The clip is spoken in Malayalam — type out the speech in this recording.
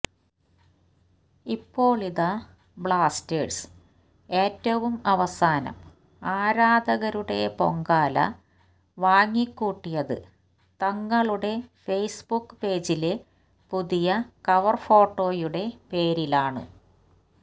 ഇപ്പോളിതാ ബ്ലാസ്റ്റേഴ്സ് ഏറ്റവും അവസാനം ആരാധകരുടെ പൊങ്കാല വാങ്ങിക്കൂട്ടിയത് തങ്ങളുടെ ഫേസ്ബുക്ക് പേജിലെ പുതിയ കവർഫോട്ടോയുടെ പേരിലാണ്